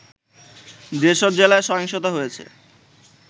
যেসব জেলায় সহিংসতা হয়েছে